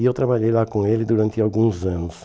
E eu trabalhei lá com ele durante alguns anos.